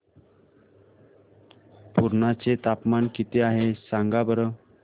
पुर्णा चे तापमान किती आहे सांगा बरं